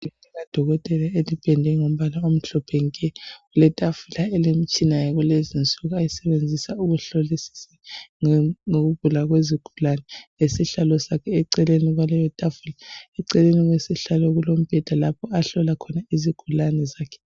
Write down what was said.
Idesk likadokotela elipendwe ngombala omhlophe nke. Kuletafula elilomtshina yakulezi insuku. Ayisebenzisa ngokugula kwezigulane. Lesihlalo sakhe eceleni kwaleyotafula. Eceleni kwesihlalo, kulombheda, ahlola khona ukugula kwezigulane zakhe.